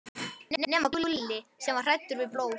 nema Gulli, sem var hræddur við blóð.